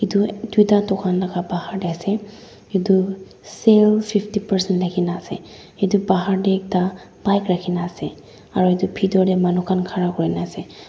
dui duita dukan laga bahar teh ase etu sale fifty person thaki na ase etu bahar teh ekta bike rakhi na ase aru etu bithor teh manu khan khara kuri na ase.